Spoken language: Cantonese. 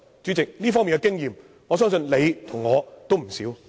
主席，這方面的經驗，相信你我都有不少。